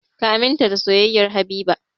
Ka aminta da soyayyar Habiba!